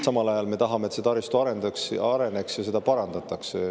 Samal ajal me tahame, et see taristu areneks ja seda parandatakse.